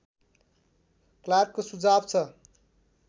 क्लार्कको सुझाव छ